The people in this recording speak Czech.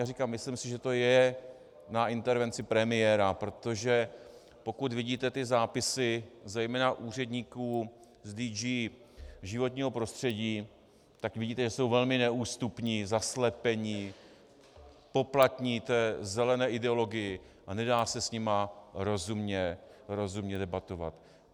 Jak říkám, myslím si, že to je na intervenci premiéra, protože pokud vidíte ty zápisy zejména úředníků z DG životního prostředí, tak vidíte, že jsou velmi neústupní, zaslepení, poplatní té zelené ideologii a nedá se s nimi rozumně debatovat.